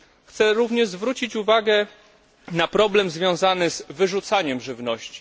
Chciałbym również zwrócić uwagę na problem związany z wyrzucaniem żywności.